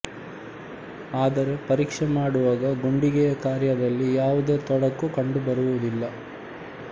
ಆದರೆ ಪರೀಕ್ಷೆ ಮಾಡುವಾಗ ಗುಂಡಿಗೆಯ ಕಾರ್ಯದಲ್ಲಿ ಯಾವುದೇ ತೊಡಕು ಕಂಡುಬರುವುದಿಲ್ಲ